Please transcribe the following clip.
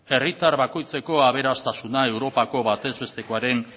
herritar bakoitzeko aberastasuna europako batez bestekoaren